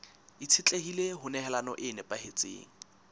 itshetlehile ho nehelano e nepahetseng